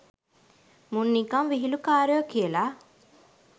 මුන් නිකං විහිළුකාරයෝ කියලා